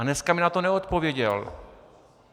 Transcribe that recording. A dneska mi na to neodpověděl.